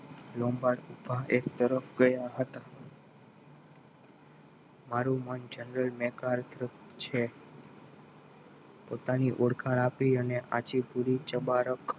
લોંબાડ ઉભા એક તરફ રહ્યા હત મારું નામ general maker છ પોતાની ઓળખાણ આપી અને આછી પુરી ચબારક